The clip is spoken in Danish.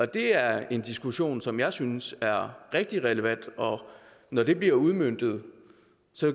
det er en diskussion som jeg synes er rigtig relevant når det bliver udmøntet